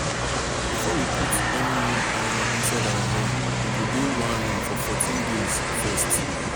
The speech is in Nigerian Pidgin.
before we put any new animal inside our own e go dey one room for 14 days first